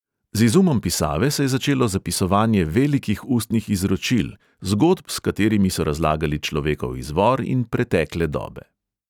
Z izumom pisave se je začelo zapisovanje velikih ustnih izročil, zgodb, s katerimi so razlagali človekov izvor in pretekle dobe.